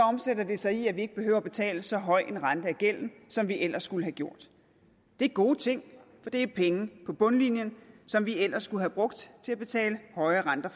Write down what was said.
omsætter det sig i at vi ikke behøver at betale så høj en rente af gælden som vi ellers skulle have gjort det er gode ting for det er penge på bundlinjen som vi ellers skulle have brugt til at betale høje renter